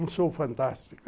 Um show fantástico.